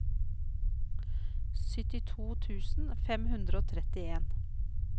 syttito tusen fem hundre og trettien